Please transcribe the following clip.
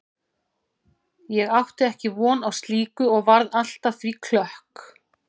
Ég átti ekki von á slíku og varð allt að því klökk.